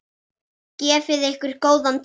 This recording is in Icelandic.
Gefið ykkur góðan tíma.